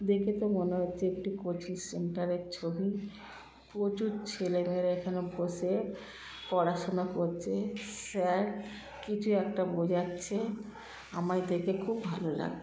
দেখে তো মনে হচ্ছে একটি কোচিং সেন্টারের -এর ছবি প্রচুর ছেলেমেয়েরা এখানে বসে পড়াশোনা করছে। স্যার কিছু একটা বোঝাচ্ছে। আমায় দেখে খুব ভালো লাগ--